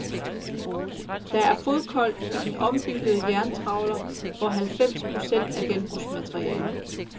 Der er fodkoldt i den ombyggede jerntrawler, hvor halvfems procent er genbrugsmateriale.